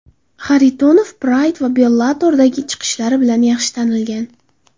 Xaritonov Pride va Bellator’dagi chiqishlari bilan yaxshi tanilgan.